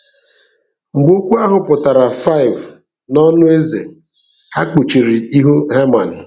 Mgbe okwu ahụ putara5 n'ọnụ eze, ha kpuchiri ihu Heman.